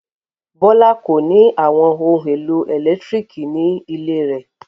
Bọ́lá kò ní àwọn ohun-èlò ẹ̀lẹ́tíríkì ní ilé rẹ̀.